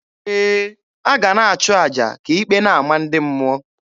Ee, a ga a na-achụ aja ka ikpe na-ama ndị mmụọ.